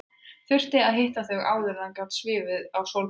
Þurfti að hitta þau áður en hann gat svifið á Sólborgu.